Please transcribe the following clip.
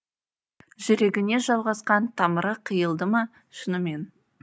жүрегіне жалғасқан тамыры қиылды ма шынымен